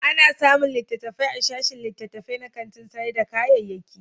Ana samun littattafai a sashin littattafai na kantin sayar da kayayyaki.